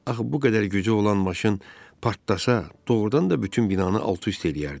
Axı bu qədər gücü olan maşın partlasa, doğurdan da bütün binanı alt-üst eləyərdi.